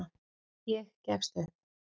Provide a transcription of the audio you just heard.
Ég gefst upp.